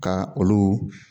Ka olu